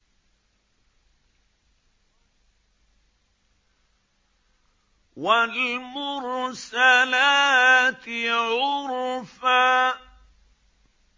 وَالْمُرْسَلَاتِ عُرْفًا